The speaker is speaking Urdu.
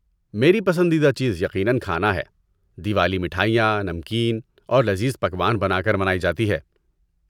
میری پسندیدہ چیز، یقیناً، کھانا ہے۔ دیوالی مٹھائیاں، نمکین اور لذیذ پکوان بنا کر منائی جاتی ہے۔